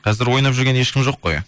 қазір ойнап жүрген ешкім жоқ қой